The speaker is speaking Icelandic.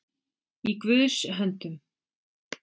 Í Guðs höndum